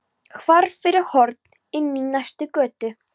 Hvarf fyrir horn inn í næstu götu.